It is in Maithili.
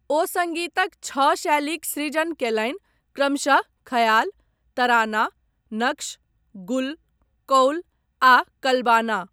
ओ सङ्गीतक छह शैलीक सृजन कयलनि क्रमशः ख्याल, तराना, नक्श, गुल, कौल आ कलबाना।